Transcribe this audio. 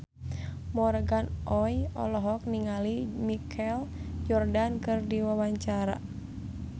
Morgan Oey olohok ningali Michael Jordan keur diwawancara